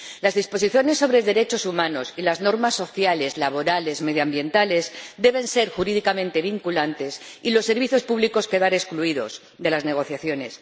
Las disposiciones sobre derechos humanos y las normas sociales, laborales, medioambientales deben ser jurídicamente vinculantes y los servicios públicos quedar excluidos de las negociaciones.